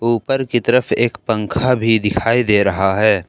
ऊपर की तरफ एक पंखा भी दिखाई दे रहा है।